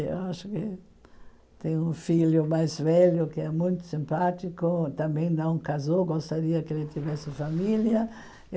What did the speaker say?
Eu acho que tem um filho mais velho que é muito simpático, também não casou, gostaria que ele tivesse família.